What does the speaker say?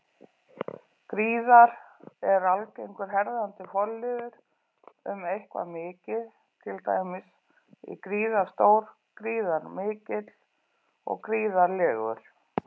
Gríðar- er algengur herðandi forliður um eitthvað mikið, til dæmis í gríðarstór, gríðarmikill, gríðarlegur.